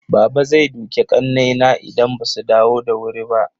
Baba zai duke ƙannaina idan basu dawo da wuri ba.